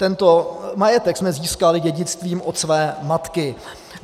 Tento majetek jsme získali dědictvím od své matky.